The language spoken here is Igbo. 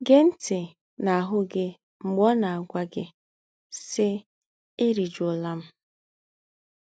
gèé ńtì̀ nà àhú gị mgbè ọ́ nà+-àgwá gí, sí, “Éríjúólá m